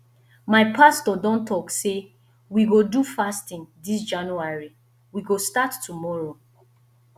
my pastor don talk sey we go do fasting dis january we go start tomorrow